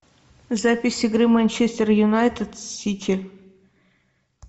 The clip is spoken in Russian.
запись игры манчестер юнайтед с сити